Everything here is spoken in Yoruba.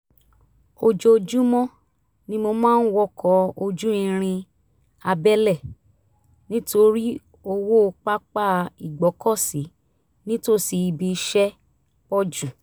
ojoojúmọ́ ni mo máa ń wọkọ̀ ojú irin abẹ́lẹ̀ nítorí owó pápá ìgbọ́kọ̀sí nítòsí ibi iṣẹ́ pọ̀ jù